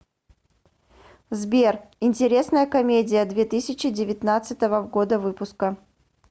сбер интересная комедия две тысячи девятнадцатого года выпуска